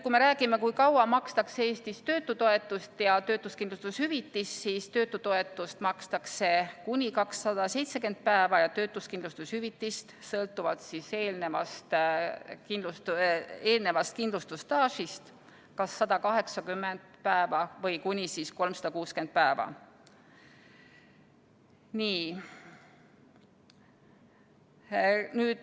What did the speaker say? Kui me räägime, kui kaua makstakse Eestis töötutoetust ja töötuskindlustushüvitist, siis töötutoetust makstakse kuni 270 päeva ja töötuskindlustushüvitist sõltuvalt eelnevast kindlustusstaažist kas 180 päeva või kuni 360 päeva.